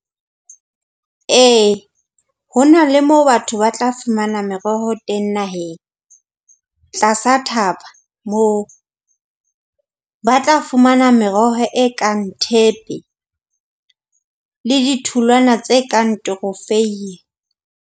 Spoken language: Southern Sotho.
Ee ho na le moo batho ba tla fumana meroho teng naheng. Tlasa thaba moo ba tla fumana meroho e kang thepe, le ditholwana tse kang .